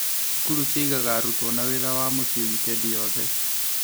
Cukuru cĩigaga arutwo na wĩra wa mũciĩ wikendi yothe